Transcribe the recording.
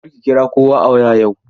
Kar ki kira kowa a waya yau!